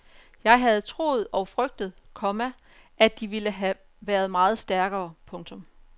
Jeg havde troet og frygtet, komma at de ville have været meget stærkere. punktum